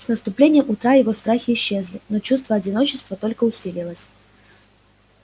с наступлением утра его страхи исчезли но чувство одиночества только усилилось